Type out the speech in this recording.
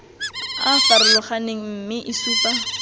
a farologaneng mme e supa